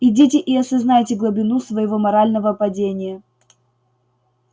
идите и осознайте глубину своего морального падения